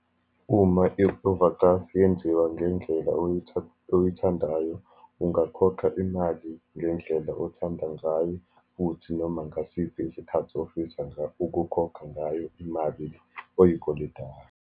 Uma i-overdraft yenziwa ngendlela oyithandayo, ungakhokha imali ngendlela othanda ngayo, futhi noma ngasiphi isikhathi ofisa ukukhokha ngayo imali le oyikoletayo.